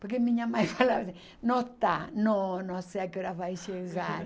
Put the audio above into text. Porque minha mãe falava assim, não está, não, não sei a que horas vai chegar.